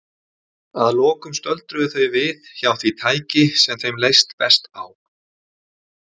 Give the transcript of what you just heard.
Að lokum stöldruðu þau við hjá því tæki sem þeim leist best á.